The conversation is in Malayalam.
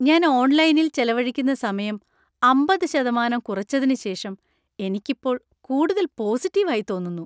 ഞാൻ ഓൺലൈനിൽ ചെലവഴിക്കുന്ന സമയം അമ്പത്‌ ശതമാനം കുറച്ചതിന് ശേഷം എനിക്ക് ഇപ്പോൾ കൂടുതൽ പോസിറ്റീവ് ആയി തോന്നുന്നു